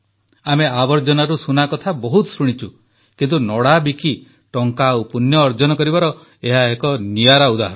ଆମେ ଆବର୍ଜନାରୁ ସୁନା କଥା ବହୁତ ଶୁଣିଛୁ କିନ୍ତୁ ନଡ଼ାବିକି ଟଙ୍କା ଆଉ ପୂଣ୍ୟ ଅର୍ଜନ କରିବାର ଏହା ଏକ ନିଆରା ଉଦାହରଣ